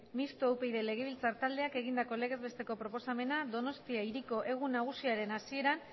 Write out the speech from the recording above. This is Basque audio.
mistoa upyd legebiltzar taldeak egindako legez besteko proposamena donostia hiriko egun nagusiaren hasieran